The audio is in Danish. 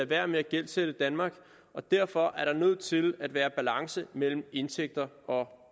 være med at gældsætte danmark og derfor er der nødt til at være balance mellem indtægter og